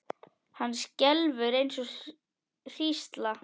Hann skelfur eins og hrísla.